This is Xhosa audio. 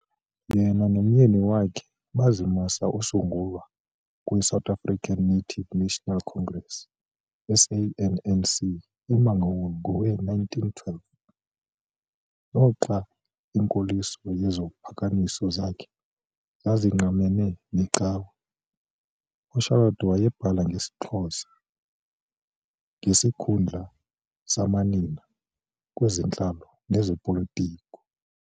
Yena nomyeni wakhe bazimasa usungulwa kweSouth African Native National Congress, SANNC, eMangaung ngowe-1912. Noxa inkoliso yeziphakamiso zakhe zazingqamene necawe, uCharlotte wayebhala ngesiXhosa ngesikhundla samanina kwezentlalo nezopolitko.